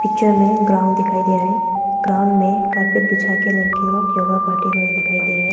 Picture में ground दिखाई दे रहे। ग्राउंड में कारपेट बिछा के लड़के लोग योगा करते हुए दिखाई दे रहे है।